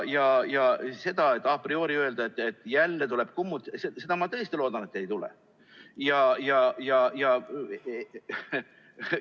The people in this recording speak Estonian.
A priori öelda, et jälle tuleb kummut – ma tõesti loodan, et ei ole vaja, et seda ei tule.